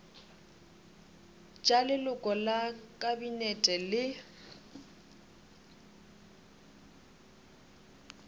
tša leloko la kabinete le